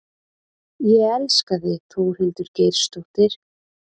Ég elska þig Þórhildur Geirsdóttir.